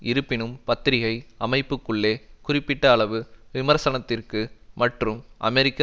இருப்பினும் பத்திரிகை அமைப்புக்குள்ளே குறிப்பிட்ட அளவு விமர்சனத்திற்கு மற்றும் அமெரிக்க